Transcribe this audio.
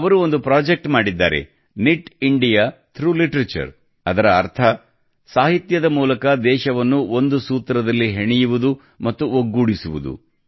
ಅವರು ಒಂದು ಪ್ರೊಜೆಕ್ಟ್ ಮಾಡಿದ್ದಾರೆ ನಿಟ್ ಇಂಡಿಯಾ ಥ್ರೌಗ್ ಲಿಟರೇಚರ್ ಅದರ ಅರ್ಥ ಸಾಹಿತ್ಯದ ಮೂಲಕ ದೇಶವನ್ನು ಒಂದು ಸೂತ್ರದಲ್ಲಿ ಹೆಣೆಯುವುದು ಮತ್ತು ಒಗ್ಗೂಡಿಸುವುದು